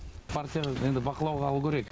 партияны енді бақылауға алу керек